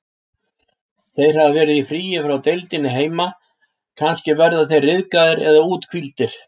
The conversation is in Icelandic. Þeir hafa verið í fríi frá deildinni heima, kannski verða þeir ryðgaðir eða úthvíldir.